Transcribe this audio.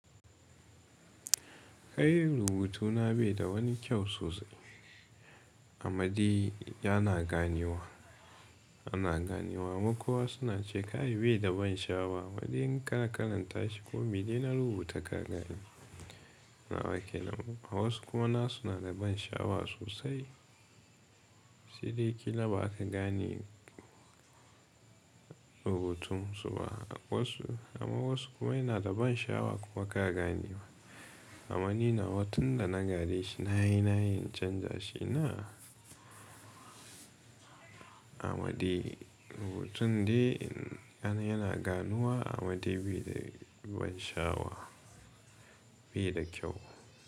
Kai rubutuna bai da wani kyau sosai, amade yana ganewa, ana ganewa. Kaman kowa suna ce kai bai da ban sha'awa, ammade in kana karanta shi ko mai dai na rubuta ka gani. Nawa ke nan, wasu kuma nasu na da ban sha'awa sosai. Sai dai kila ba ka gane rubutun su ba. Wasu amma wasu kuma yana da ban sha'awa kuma ka gane wa. Amma ni nawa tun da na gare shi na yi na yina canja shi ina amade rubutun dai ana yana ganuwa amade bai da ban sha'awa, bai da kyau.